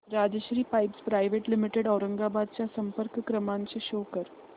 Rajshri pipes private limited Aurangabad चा संपर्क क्रमांक शो कर